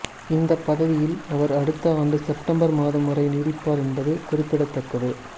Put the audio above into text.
இந்த பதவியில் அவர் அடுத்த ஆண்டு செப்டம்பர் மாதம் வரை நீடிப்பார் என்பது குறிப்பிடத்தக்கது